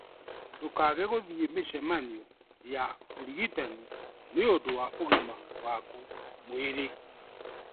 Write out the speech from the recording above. Ndũkaage gũthiĩ mĩcemanio ya ũrigitani nĩ ũndũ wa ũgima waku mwĩrĩ.